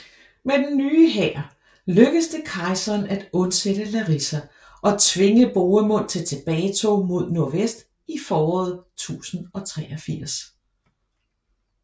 Med den nye hær lykkedes det kejseren at undsætte Larissa og tvinge Bohemund til tilbagetog mod nordvest i foråret 1083